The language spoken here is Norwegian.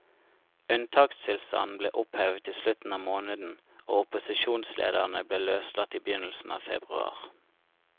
Unntakstilstanden ble opphevet i slutten av måneden, og opposisjonslederne ble løslatt i begynnelsen av februar.